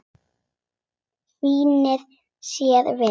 Snýr sér við.